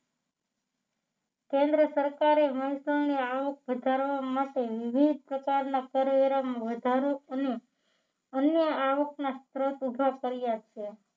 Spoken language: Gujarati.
કેન્દ્ર સરકારે મહેસુલની આવક વધારવા માટે વિવિધ પ્રકારના કરવેરામાં વધારો અને અન્ય આવકના સ્ત્રોત ઊભા કર્યા છે